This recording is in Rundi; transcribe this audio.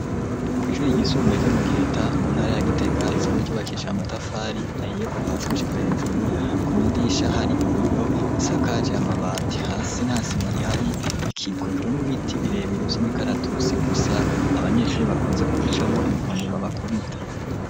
Kw'ishure ryisumbuye ryo mu giheta mu ntara ya gitega isanzwe ryubakisha amatafari ahiye kuva hasi gushika hejuru, ku madirisha hari ibiyo, isakaje amabati hasi nta sima rihari, ikikujwe n'ibiti birebire vy'imikaratusi gusa, abanyeshuri bakunze kubicamwo inkoni babakubita.